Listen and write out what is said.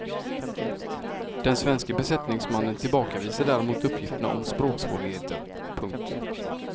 Den svenske besättningsmannen tillbakavisar däremot uppgifterna om språksvårigheter. punkt